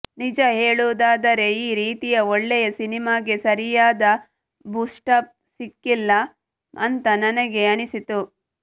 ನಿಜ ಹೇಳುವುದಾದರೆ ಈ ರೀತಿಯ ಒಳ್ಳೆಯ ಸಿನಿಮಾಗೆ ಸರಿಯಾದ ಬುಸ್ಟಪ್ ಸಿಕ್ಕಿಲ್ಲ ಅಂತ ನನಗೆ ಅನಿಸಿತು